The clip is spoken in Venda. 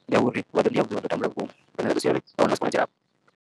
Ndi ya uri vhalwadze vha ḓo tambula vhukuma lwa tshifhinga tshilapfhu.